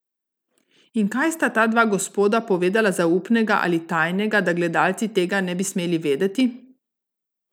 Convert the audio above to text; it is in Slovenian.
In kaj sta ta dva gospoda povedala zaupnega ali tajnega, da gledalci tega ne bi smeli vedeti?